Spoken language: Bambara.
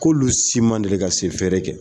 K'olu si man deli ka sɛ feere kɛ